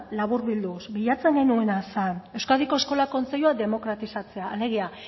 laburbilduz bilatzen genuena zen euskadiko eskola kontseilua demokratizatzea alegia